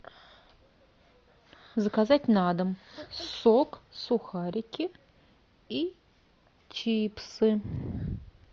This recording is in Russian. заказать на дом сок сухарики и чипсы